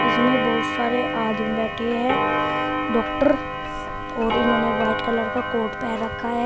इसमें बहुत सारे आदमी बैठे हैं डॉक्टर और इन्होंने व्हाइट कलर का कोट पहन रखा है।